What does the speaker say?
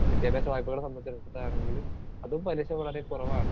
Speaker 2 വിദ്യാഭ്യാസവായ്പ കളെ സംബന്ധിച്ചെടുത്തിട്ടാണെങ്കിലും അതും പലിശ വളരെ കുറവാണ്.